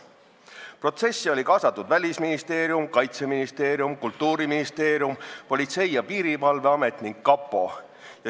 Protsessi olid kaasatud Välisministeerium, Kaitseministeerium, Kultuuriministeerium, Politsei- ja Piirivalveamet ning kapo.